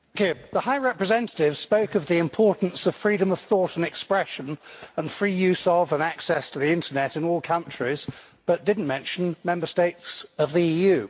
Madam President, the High Representative spoke of the importance of freedom of thought and expression, and free use of and access to the Internet in all countries, but did not mention Member States of the EU.